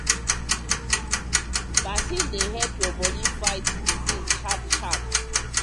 vaccine dey help your body fight disease sharp sharp.